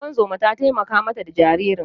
Ungozoma ta taimaka ma ta da jaririn.